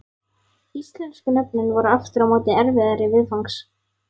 Íslensku nöfnin voru aftur á móti erfiðari viðfangs.